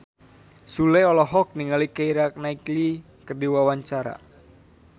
Sule olohok ningali Keira Knightley keur diwawancara